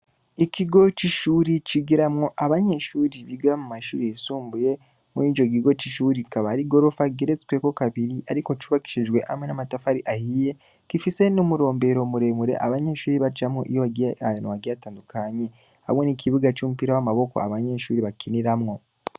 Ikigo c'ishure cigiramwo abanyeshure biga mu mashure yisumbuye, murico kigo c'ishure hakaba hari igorofa igeretse kabiri, ariko cubakishijwe hamwe n'amatafari ahiye, gifise n'umurombero muremure abanyeshure bacamwo iyo bagiye ahantu hagiye hatandukanye, hamwe n'ikibuga c'umupira w'amaboko abanyeshure bakiniramwo.